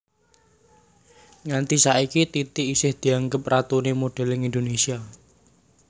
Nganti saiki Titi isih dianggep ratuné modèlling Indonésia